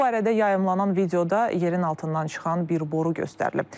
Bu barədə yayımlanan videoda yerin altından çıxan bir boru göstərilib.